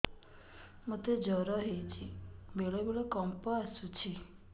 ମୋତେ ଜ୍ୱର ହେଇଚି ବେଳେ ବେଳେ କମ୍ପ ଆସୁଛି